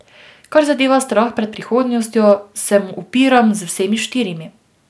Kar zadeva strah pred prihodnostjo, se mu upiram z vsemi štirimi.